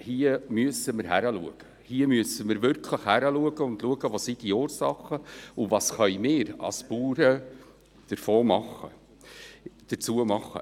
Hier müssen wir hinschauen und beobachten, wo die Ursachen liegen und was wir als Bauern hier tun können.